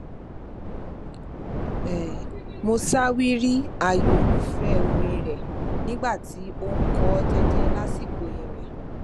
mo ṣàwárí ààyò irúfẹ orin rẹ nígbà tí ó n kọ ọ jẹjẹ lásìkò ìrìn